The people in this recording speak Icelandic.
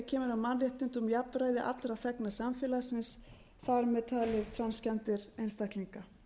kemur að mannréttindum og jafnræði allra þegna samfélagsins þar með talið transgender einstaklinga